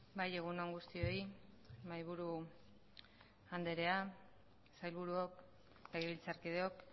bai egun on guztioi mahaiburu andrea sailburuok legebiltzarkideok